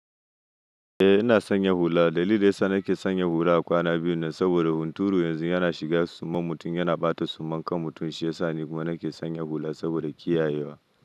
Eh ina sanya hula. Dalilin da yasa nake sanyin hula kwana biyu nan saboda hunturu yanzu yana shiga suman mutum yana ɓata suman kan mutum shi yasa ni kuma nake sanya hula saboda kiyayewa.